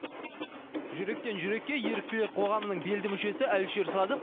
жүректен жүрекке еріктілер қоғамының белді мүшесі әлішер садық